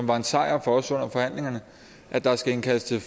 var en sejr for os under forhandlingerne at der skal indkaldes til